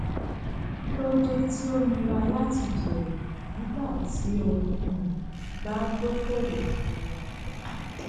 kí lódé tí ó nira láti jèrè nígbà tí o um bá dókòwòkalu aja um